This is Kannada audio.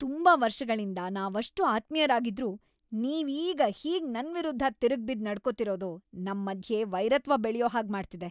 ತುಂಬಾ ವರ್ಷಗಳಿಂದ ನಾವಷ್ಟ್‌ ಆತ್ಮೀಯರಾಗಿದ್ರೂ ನೀವೀಗ ಹೀಗ್‌ ನನ್ವಿರುದ್ಧ ತಿರುಗ್ಬಿದ್ದ್‌ ನಡ್ಕೊತಿರೋದು ನಮ್ಮಧ್ಯೆ ವೈರತ್ವ ಬೆಳ್ಯೋ ಹಾಗ್‌ ಮಾಡ್ತಿದೆ.